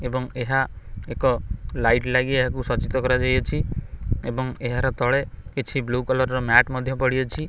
ଏବଂ ଏହା ଏକ ଲାଇଟ୍ ଲାଗି ଏହାକୁ ସଜ୍ଜିତ କରା ଯାଇଅଛି ଏବଂ ଏହାର ତଳେ କିଛି ବ୍ଲୁ କଲର୍ ର ମ୍ୟାଟ୍ ମଧ୍ୟ ପଡ଼ିଅଛି।